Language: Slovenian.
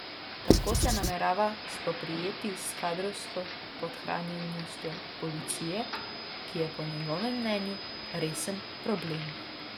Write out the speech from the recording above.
Tako se namerava spoprijeti s kadrovsko podhranjenostjo policije, ki je po njegovem mnenju resen problem.